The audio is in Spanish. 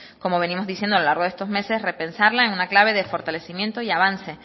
como venimos diciendo a lo largo de estos meses repensarla en una clave de fortalecimiento y avance